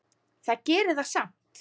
Það gerir það samt.